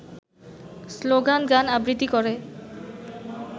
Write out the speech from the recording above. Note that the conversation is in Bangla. স্লোগান-গান-আবৃত্তি করে